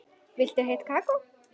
Viltu heitt kakó?